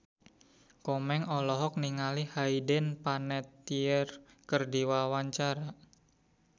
Komeng olohok ningali Hayden Panettiere keur diwawancara